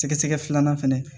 Sɛgɛsɛgɛ filanan fɛnɛ